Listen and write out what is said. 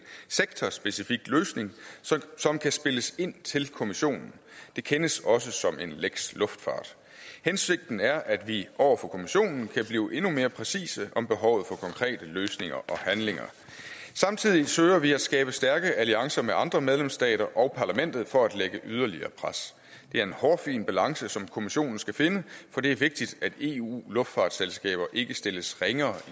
sektorspecifik løsning som kan spilles ind til kommissionen det kendes også som en lex luftfart hensigten er at vi over for kommissionen kan blive endnu mere præcise om behovet for konkrete løsninger og handlinger samtidig søger vi at skabe stærke alliancer med andre medlemsstater og parlamentet for at lægge yderligere pres det er en hårfin balance som kommissionen skal finde for det er vigtigt at eu luftfartsselskaber ikke stilles ringere